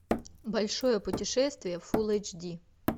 большое путешествие фул эйч ди